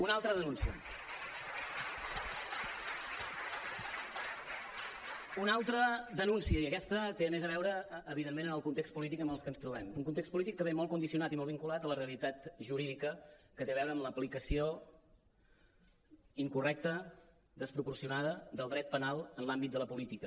una altra denúncia i aquesta té més a veure evidentment amb el context polític en què ens trobem un context polític que ve molt condicionat i molt vinculat a la realitat jurídica que té a veure amb l’aplicació incorrecta desproporcionada del dret penal en l’àmbit de la política